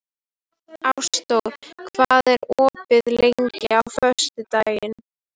Ásdór, hvað er opið lengi á föstudaginn?